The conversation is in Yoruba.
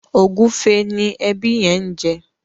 ògúfe ni ẹbi yen ń jẹ